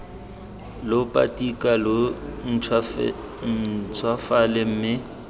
lo patika lo ntšhwafale mme